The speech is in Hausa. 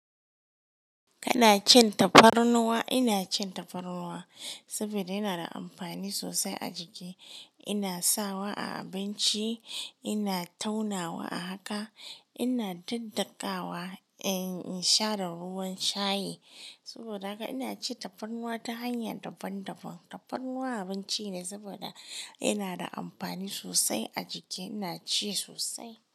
Kana cin tafarnuwa, ina cin tafarnuwa saboda yana da amfani sosai a jiki. Ina sawa a abinci, ina taunawa a haka, ina daddakawa in sha da ruwan shayi. Saboda haka ina ci tafarnuwa ta hanya daban daban. Tafarnuwa abinci ne saboda yana da amfani sosai a jiki. Ina ci sosai.